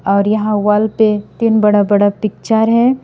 और यहां वॉल पे तीन बड़ा बड़ा पिक्चर है।